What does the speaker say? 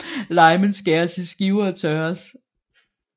Limen skæres i skiver og tørres